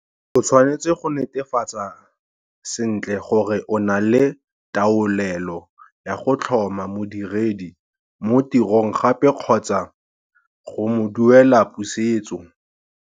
O tshwanetse go netefatsa sentle gore o na le taolelo ya go tlhoma modiredi mo tirong gape kgotsa go mo duela pusetso.